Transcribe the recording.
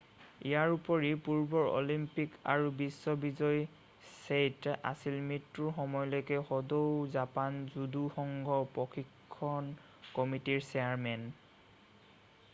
ইয়াৰোপৰি পূৰ্বৰ অলিম্পিক আৰু বিশ্ব বিজয়ী ছেইট' আছিল মৃত্যুৰ সময়লৈকে সদৌ জাপান জুদু সংঘ প্ৰশিক্ষণ কমিটিৰ চেয়াৰমেন